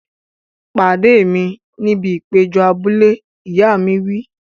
Pàdé mi níbi ìpéjọ abúlé! Ìyá mi wí.